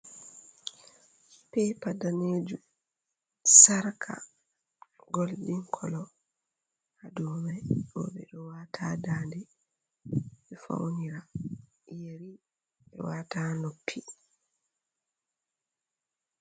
Pepa ɗaneju. Sarka golɗin kolo. ha ɗow mai beɗe wata ha nɗanɗe be faunira. yeri be wata ha noppi.